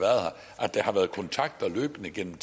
at der har været kontakt løbende gennem